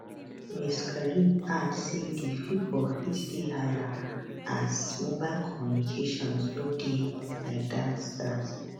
ms karib add say di figure fit dey higher as mobile communications no dey like dat dat